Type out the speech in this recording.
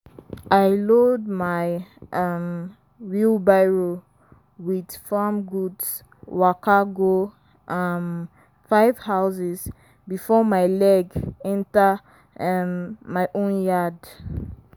i load my um wheelbarrow with farm goods waka go um five houses before my leg enter um my own yard.